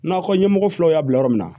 Nakɔ ɲɛmɔgɔ filaw y'a bila yɔrɔ min na